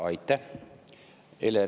Aitäh!